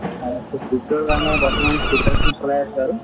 হয় তʼ CPO ৰ কাৰণে বৰ্তমান preparation চলাই আছোঁ আৰু।